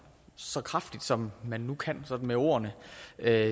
så kraftigt som man nu kan med ord at